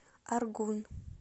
аргун